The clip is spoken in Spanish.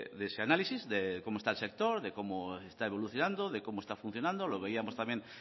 de ese análisis de cómo está el sector de cómo está evolucionando de cómo está funcionando lo veíamos también